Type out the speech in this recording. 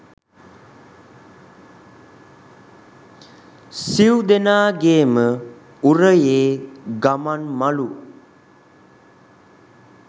සිව් දෙනාගේම උරයේ ගමන්මලු